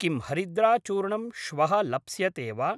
किं हरिद्राचूर्णम् श्वः लप्स्यते वा?